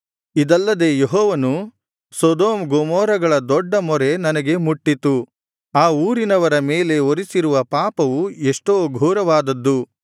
ಇದಲ್ಲದೆ ಯೆಹೋವನು ಸೊದೋಮ್ ಗೊಮೋರಗಳ ದೊಡ್ಡ ಮೊರೆ ನನಗೆ ಮುಟ್ಟಿತು ಆ ಊರಿನವರ ಮೇಲೆ ಹೊರಿಸಿರುವ ಪಾಪವು ಎಷ್ಟೋ ಘೋರವಾದದ್ದು